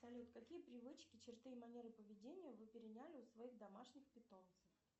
салют какие привычки черты и манеры поведения вы переняли у своих домашних питомцев